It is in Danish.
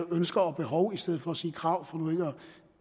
ønsker og behov i stedet for at sige krav for nu ikke at